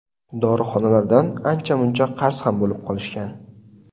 Dorixonalardan ancha-muncha qarz ham bo‘lib qolishgan.